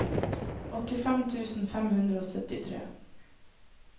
åttifem tusen fem hundre og syttitre